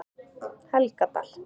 Helgadal